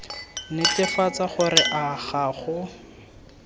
netefatsa gore a ga go